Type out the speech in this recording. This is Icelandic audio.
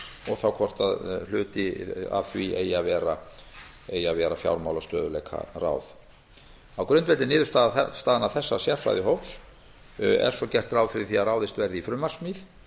og þá hvort hluti af því eigi að vera fjármálastöðugleikaráð á grundvelli niðurstaðna þessa sérfræðihóps er svo gert ráð fyrir því að ráðist verði í frumvarpssmíð